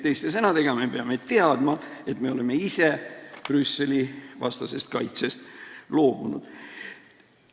Teiste sõnadega, me peame teadma, et me oleme ise Brüsseli-vastasest kaitsest loobunud.